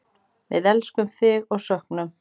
Við elskum þig og söknum.